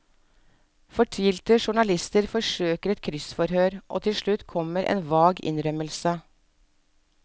Fortvilte journalister forsøker et kryssforhør, og til slutt kommer en vag innrømmelse.